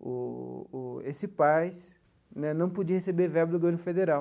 o o o esse PAS né não podia receber verba do governo federal.